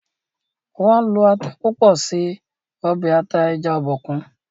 wón ló atá púpọ ṣe obe ata eja Obòkun